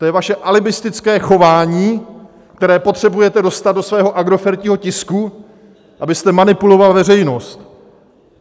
To je vaše alibistické chování, které potřebujete dostat do svého agrofertního tisku, abyste manipuloval veřejnost.